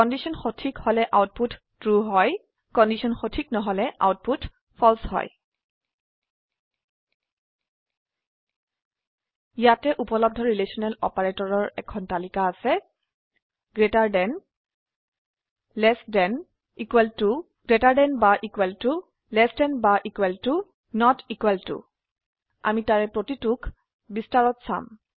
condition সঠিক হলে output true হয় কন্ডিশন সঠিক নহলে আউটপুট ফালছে হয় ইয়াতে উপলব্ধ ৰিলেশনেল অপাৰেটৰৰ এখন তালিকা আছে greater than less than equal to greater than বা ইকুয়েল টু লেস দেন বা equal to not equal to আমি তাৰে প্ৰতিটোক বিস্তাৰত চাম